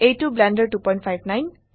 এইটো ব্লেন্ডাৰ 259